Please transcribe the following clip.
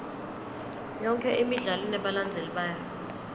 yonke imidlalo inebalandzeli bayo